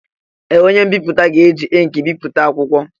Ee! Onye mbipụta ga-eji ịnkị bipụta akwụkwọ.